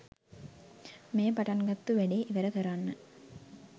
මේ පටන් ගත්තු වැඩේ ඉවර කරන්න